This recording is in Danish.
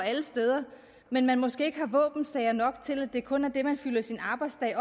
alle steder men måske ikke har våbensager nok til at det kun er det man fylder sin arbejdsdag